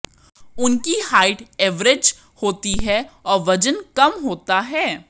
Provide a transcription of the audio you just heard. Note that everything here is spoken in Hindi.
उनकी हाइट ऐवरेज होती है और वजन कम होता है